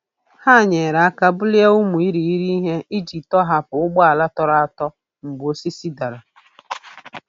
Ha nyere aka bulie ụmụ irighiri ihe iji tọhapụ ụgbọala tọrọ atọ mgbe osisi dara.